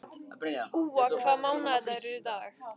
Úa, hvaða mánaðardagur er í dag?